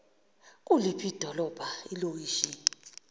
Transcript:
kuliphi idolobha ilokishi